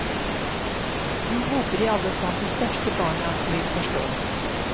Vi håper i alle fall de største barna vil forstå.